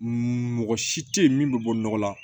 Mɔgɔ si tɛ ye min bɛ bɔ nɔgɔ la